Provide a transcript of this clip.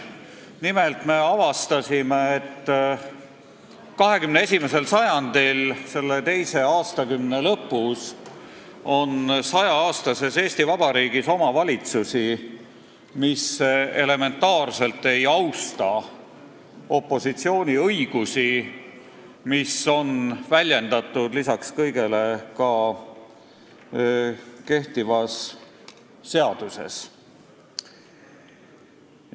Nimelt, me avastasime, et 21. sajandi teise aastakümne lõpus on 100-aastases Eesti Vabariigis omavalitsusi, kes elementaarselt ei austa opositsiooni õigusi, mis on lisaks kõigele väljendatud ka kehtivas seaduses.